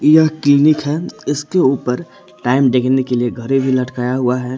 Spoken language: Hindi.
यह क्लिनिक है इसके ऊपर टाइम देखने के लिए घड़ी भी लटकाया हुआ है।